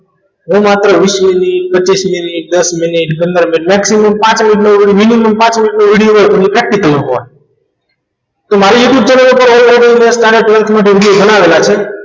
હું માત્ર વીસ મિનિટ પચીશ મિનિટ દસ મિનિટ પંદર મિનિટ maximum પાંચ મિનિટ minimum પાંચ મિનિટનો video હોય પણ એ practical નો હોય તો મારે youtube channel ઉપર already માટે ભણાવેલ છે